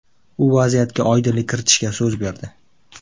U vaziyatga oydinlik kiritishga so‘z berdi.